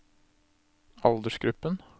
aldersgruppen